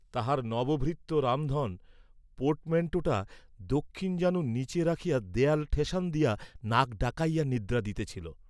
তাঁহার নবভৃত্য রামধন পোর্টম্যাণ্টোটা দক্ষিণ জানুর নীচে রাখিয়া দেয়ালে ঠেশান দিয়া নাক ডাকাইয়া নিদ্রা দিতেছিল।